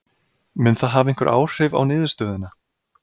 Mun það hafa einhver áhrif á niðurstöðuna?